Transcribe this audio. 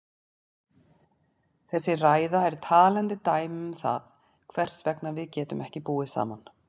Þessi ræða er talandi dæmi um það hvers vegna við getum ekki búið saman.